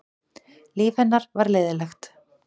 Líf hennar var leiðinlegt.